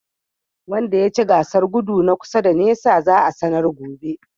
Wanda yace gasar godu na kusa da nisa za'a sanar gobe.